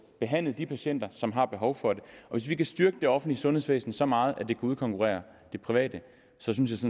behandlet de patienter som har behov for det hvis vi kan styrke det offentlige sundhedsvæsen så meget at det kan udkonkurrere det private så synes